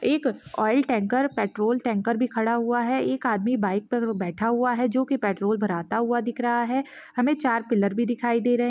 एक oil tank petrol tanker भी खड़ा हुआ है एक आदमी बाइक पर बैठा हुआ है जो की पेट्रोल भराता हुआ दिख रहा है हमे चार पिलर भी दिखाई दे रहे--